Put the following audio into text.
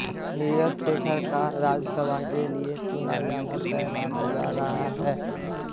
नीरज शेखर का राज्यसभा के लिए चुना जाना तय माना जा रहा है